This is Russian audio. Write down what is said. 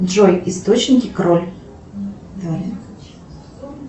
джой источники кроль